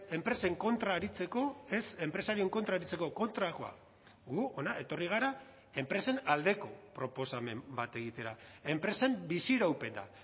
enpresen kontra aritzeko ez enpresarien kontra aritzeko kontrakoa gu hona etorri gara enpresen aldeko proposamen bat egitera enpresen biziraupena